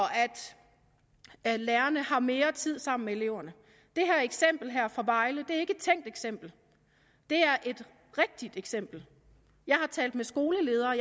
at lærerne har mere tid sammen med eleverne det her eksempel fra vejle er ikke et tænkt eksempel det er et rigtigt eksempel jeg har talt med skoleledere